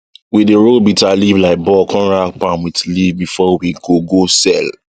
we dey roll bitterleaf like ball come wrap am with leaf before we go go sell